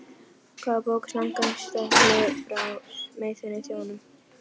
Hvað er bók samkvæmt staðli frá Sameinuðu þjóðunum?